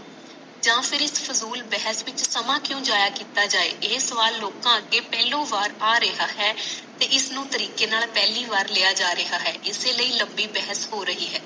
ਜਾ ਫਿਰ ਇਕ ਫਜੂਲ ਬਹਸ ਵਿਚ ਸਮਾਂ ਕਿਉਂ ਜਾਈਆ ਕੀਤਾ ਜਾਵਾ ਇਹ ਸਵਾਲ ਕੋਲਾ ਅਗੇ ਪਹਿਲੂ ਵਾਰ ਆ ਰਿਹਾ ਹੈ ਤੇ ਇਸ ਨੂੰ ਤਰੀਕੇ ਨਾਲ ਪਹਲੀ ਬਾਰ ਲਿਆ ਜਾ ਰਿਹਾ ਹੈ ਇਸੇ ਲਿਆ ਲੰਬੀ ਬਹਾਸ਼ ਹੋ ਰਹੀ ਹੈ